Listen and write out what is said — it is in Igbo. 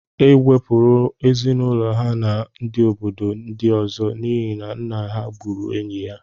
E kewapụrụ ezinụlọ ya na ndị obodo ndị ọzọ n'ihi na nna ha gburu enyi ya